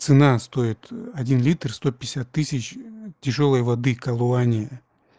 цена стоит один литр сто пятьдесят тысяч тяжёлой воды колоане